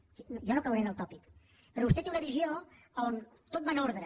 o sigui jo no caure en el tòpic però vostè té una visió a on tot va en ordre